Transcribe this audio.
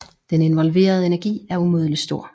Den involverede energi er umådelig stor